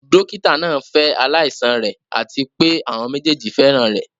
Dókítà náà ń fẹ́ aláìsàn rẹ̀ àti pé àwọn méjèèjì fẹ́ràn rẹ̀.